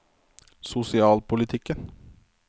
sosialpolitikken